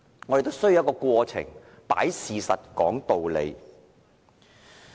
我們是需要一些過程，擺事實，講道理的。